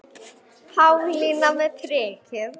Pálína með prikið